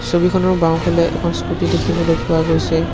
ছবিখনৰ বাওঁফালে এখন স্কুটি দেখিবলৈ পোৱা গৈছে।